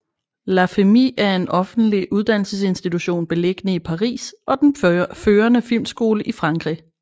La Fémis er en offentlig uddannelsesinstitution beliggende i Paris og den førende filmskole i Frankrig